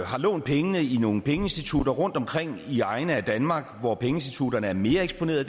har lånt pengene i nogle pengeinstitutter rundtomkring i egne af danmark hvor pengeinstitutterne er mere eksponerede